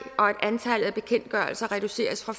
og at antallet af bekendtgørelser reduceres fra